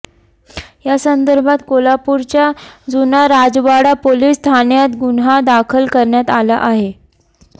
या संदर्भात कोल्हापूरच्या जुना राजवाडा पोलीस ठाण्यात गुन्हा दाखल करण्यात आला आहे